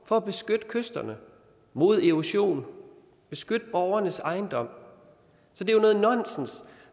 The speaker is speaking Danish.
for at beskytte kyster mod erosion og beskytte borgernes ejendom så det er nonsens